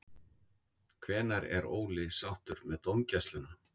Hvenær er Óli sáttur með dómgæsluna?